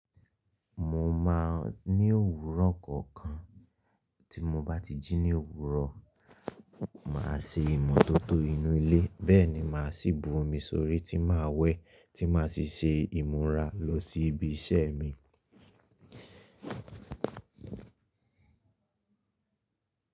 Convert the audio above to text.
Mo máa ní òwúrọ̀ kọ̀ọ̀kan. Tí mo bá ti jí ní òwúrọ̀, màá se imọ́tótó inú ilé, bẹ́ẹ̀ ni màá sì bu omi sórí tí màá wẹ̀ tí màá sì se ìmúra lọ sí ibi iṣẹ́ mi.